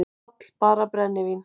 PÁLL: Bara brennivín!